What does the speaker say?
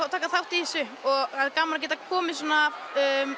að taka þátt í þessu og gaman að geta komið svona